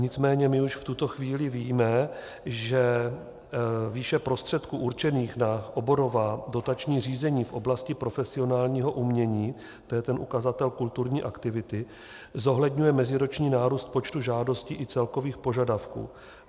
Nicméně my už v tuto chvíli víme, že výše prostředků určených na oborová dotační řízení v oblasti profesionálního umění, to je ten ukazatel kulturní aktivity, zohledňuje meziroční nárůst počtu žádostí i celkových požadavků.